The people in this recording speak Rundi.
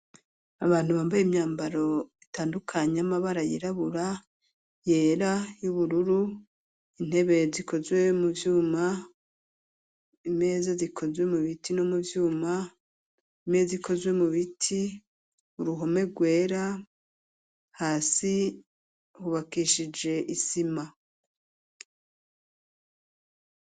Abantu bambaye imyambaro itandukanye y'amabara yirabura ,yera y'ubururu, intebe zikozwe mu vyuma, imeza zikozwe mu biti no mu vyuma, imeza ikozwe mu biti ,uruhome rwera ,hasi hubakishije isima